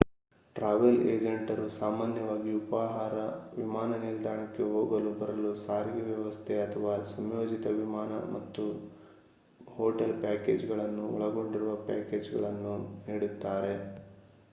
travel ಏಜೆಂಟರು ಸಾಮಾನ್ಯವಾಗಿ ಉಪಾಹಾರ ವಿಮಾನ ನಿಲ್ದಾಣಕ್ಕೆ ಹೋಗಲು/ಬರಲು ಸಾರಿಗೆ ವ್ಯವಸ್ಥೆ ಅಥವಾ ಸಂಯೋಜಿತ ವಿಮಾನ ಮತ್ತು ಹೋಟೆಲ್ ಪ್ಯಾಕೇಜ್‌ಗಳನ್ನು ಒಳಗೊಂಡಿರುವ ಪ್ಯಾಕೇಜ್‌ಗಳನ್ನು ನೀಡುತ್ತಾರೆ